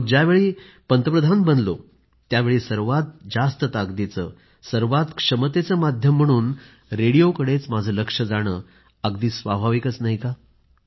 मग ज्यावेळी पंतप्रधान बनलो त्यावेळी सर्वात जास्त ताकदीचे क्षमतेचे माध्यम म्हणून रेडिओकडे माझं लक्ष जाणं अगदीच स्वाभाविक होतं